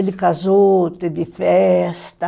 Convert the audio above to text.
Ele casou, teve festa.